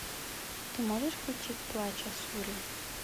ты можешь включить плач асуры